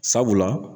Sabula